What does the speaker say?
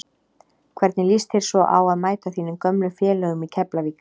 Hvernig lýst þér svo á að mæta þínum gömlu félögum í Keflavík?